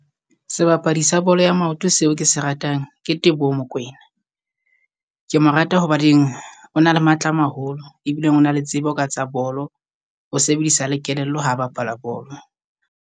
Sebapadi sa bolo ya maoto seo ke se ratang Ke Teboho Mokoena, ke mo rata hobaneng o na le matla a maholo. Ebile o na le tsebo ka tsa bolo o sebedisa le kelello ha bapala bolo.